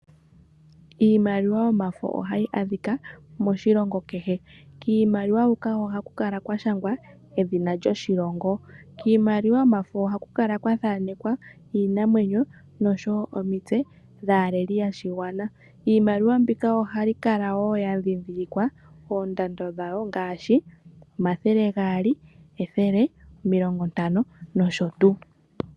Iimaliwa yomafo ohayi adhika moshilongo kehe, kiimaliwa huka ohaku kala kwashangwa edhina lyoshilongo. Kiimaliwa yomafo ohaku kala kwathanekwa iinamwenyo nosho wo omitse dhaaleli yoshigwana. Iimaliwa mbika ohayi kala wo yadhindhilikwa oondando dhawo ngaashi omathele gaali, ethele, omilongontano nosho tuu.